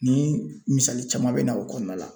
Ni misali caman bɛ na o kɔnɔna la.